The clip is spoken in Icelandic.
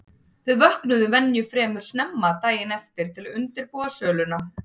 Þau vöknuðu venju fremur snemma daginn eftir til að undirbúa söluna.